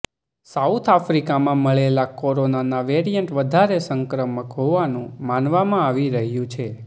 south આફ્રિકામાં મળેલા corona variant વધારે સંક્રામક હોવાનું માનવામાં આવી રહ્યું છે